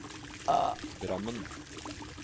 Drammen